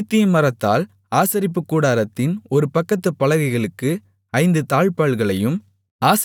சீத்திம் மரத்தால் ஆசரிப்பு கூடாரத்தின் ஒரு பக்கத்துப் பலகைகளுக்கு ஐந்து தாழ்ப்பாள்களையும்